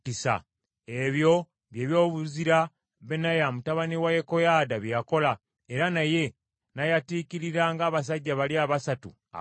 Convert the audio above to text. Ebyo bye byobuzira Benaya mutabani wa Yekoyaada bye yakola, era naye n’ayatiikirira ng’abasajja bali abasatu abazira.